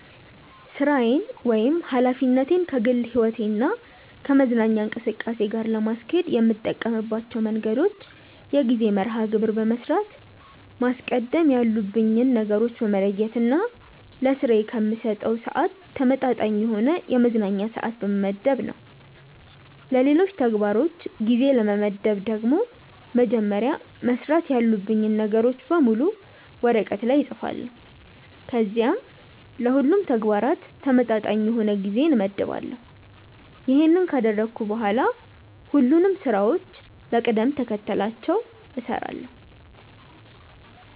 ሥራዬን ወይም ኃላፊነቴን ከግል ሕይወቴ እና ከመዝናኛ እንቅስቃሴ ጋር ለማስኬድ የምጠቀምባቸው መንገዶች የጊዜ መርሐ ግብር በመስራት፣ ማስቀደም ያሉብኝን ነገሮች በመለየት እና ለስራዬ ከምሰጠው ስዓት ተመጣጣኝ የሆነ የመዝናኛ ስዓት በመመደብ ነው። ለሌሎች ተግባሮች ጊዜ ለመመደብ ደግሞ መጀመሪያ መስራት ያሉብኝን ነገሮች በሙሉ ወረቀት ላይ እፅፋለሁ ከዚያም ለሁሉም ተግባራት ተመጣጣኝ የሆነ ጊዜ እመድባለሁ። ይሄንን ካደረግኩ በኋላ ሁሉንም ስራዎችን በቅደም ተከተላቸው እሰራለሁ።